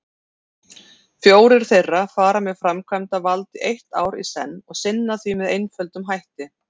Fjórir þeirra fara með framkvæmdavald eitt ár í senn og sinna því með einföldum hætti.